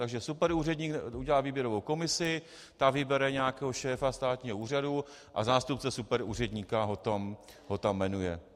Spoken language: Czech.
Takže superúředník udělá výběrovou komisi, ta vybere nějakého šéfa státního úřadu a zástupce superúředníka ho tam jmenuje.